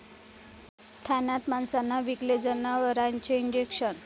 ठाण्यात माणसांना विकले जनावरांचे इंजेक्शन!